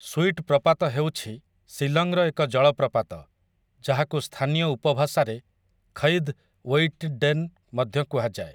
Sweet ପ୍ରପାତ ହେଉଛି ଶିଲଂର ଏକ ଜଳପ୍ରପାତ, ଯାହାକୁ ସ୍ଥାନୀୟ ଉପଭାଷାରେ କ୍ଷୈଦ୍ ୱେଇଟଡେନ୍ ମଧ୍ୟ କୁହାଯାଏ ।